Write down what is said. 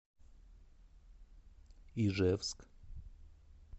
ижевск